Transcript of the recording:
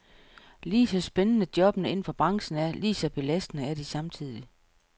Ligeså spændende jobbene indenfor branchen er, ligeså belastende er de samtidig.